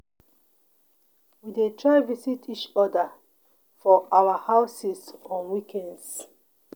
We dey try visit each other for our houses on weekends